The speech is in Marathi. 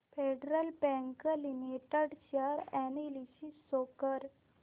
federal bank limited share analysis show कर